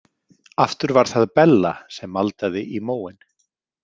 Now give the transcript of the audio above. Aftur var það Bella sem maldaði í móinn.